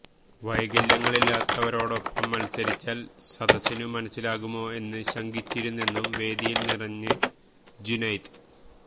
വൈകല്യങ്ങളില്ലാത്തവരോടൊപ്പം മത്സരിച്ചാല് സദസ്സിനു മനസ്സിലാകുമോ എന്ന് ശങ്കിച്ചിരുന്നെങ്കിലും വേദിയില് നിറഞ്ഞ് ജുനൈദ്